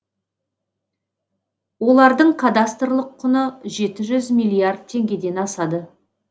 олардың кадастрлық құны жеті жүз миллиард теңгеден асады